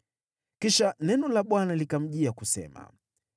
Kisha neno la Bwana likamjia, kusema,